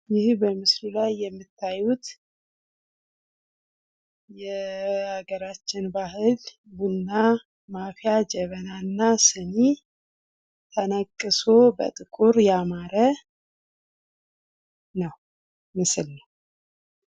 ይህ በምስሉ ላይ የምታዩት የሀገራችን ባሕል ቡና ማፍያ ጀበና እና ሲኒ የንቅሱ በጥቁር ያማረ ምስል ነው ።